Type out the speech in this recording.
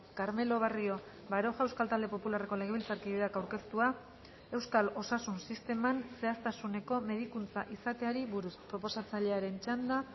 carmelo barrio baroja euskal talde popularreko legebiltzarkideak aurkeztua euskal osasun sisteman zehaztasuneko medikuntza izateari buruz proposatzailearen txanda